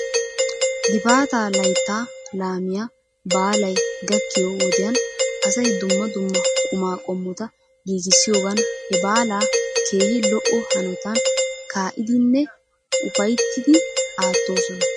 Gifaataa laytta laamiyaa baalay gakkiyo wodiyan asay dumma dumma qumaa qommota giigisiyoogan he baalaa keehi lo'o hanotan kaa''iiddinne ufayttiiddi aattoosona.